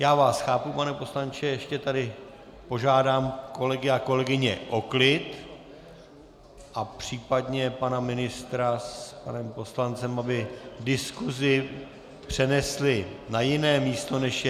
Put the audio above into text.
Já vás chápu, pane poslanče, ještě tedy požádám kolegy a kolegyně o klid a případně pana ministra s panem poslancem, aby diskusi přenesli na jiné místo, než je...